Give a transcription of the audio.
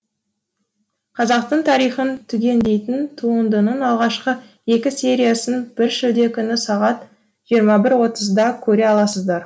қазақтың тарихын түгендейтін туындының алғашқы екі сериясын бір шілде күні сағат жиырма бір отызда көре аласыздар